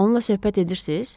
Onla söhbət edirsiz?